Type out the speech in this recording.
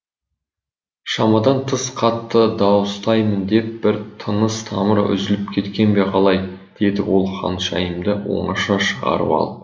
шамадан тыс қатты дауыстаймын деп бір тыныс тамыры үзіліп кеткен бе қалай деді ол ханшайымды оңаша шығарып алып